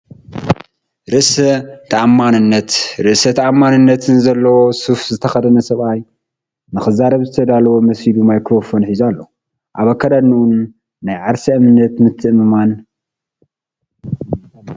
ርእሰ ተኣማንነትን ርእሰ ተኣማንነትን ዘለዎ ሱፍ ዝተኸድነ ሰብኣይ፡ ንኽዛረብ ዝዳሎ መሲሉ ማይክሮፎን ሒዙ ኣሎ። ኣብ ኣከዳድናኡን ናይ ዓርሰ ምትእምማንን ስምዒት ኣለዎ።